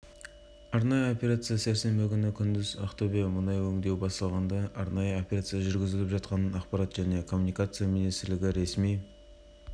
ақтөбе желтоқсан қаз ақтөбедегі арнайы операция барысында аса ірі көлемде мұнай ұрлаған деп күдіктелген екі адам ұсталды деп хабарлады агенттік тілшісі